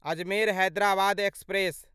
Ajmer Hyderabad express